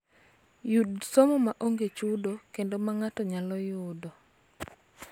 Yud somo ma onge chudo kendo ma ng�ato nyalo yudo.